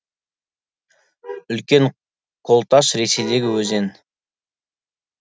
үлкен колташ ресейдегі өзен